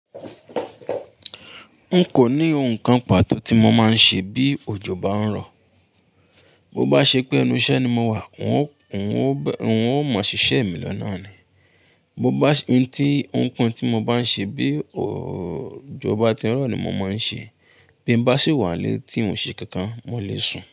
N kò ní ohun kan pàtó tí mo máa ń ṣe bí òjò bá ń rọ̀. Mo bá ṣe pé inú iṣẹ́ ni mo wà, wọn ó, wọn ó, wọn ó mọ̀ ṣiṣẹ́ mi lọ́nà ni. Mo bá ṣe, ohun tí, ohun kan tí mo bá ń ṣe bí òjò bá ti ń rọ̀ ni mo máa ń ṣe. Bí mo bá sì wà lé tí n ṣe kankan, mo lè sùn.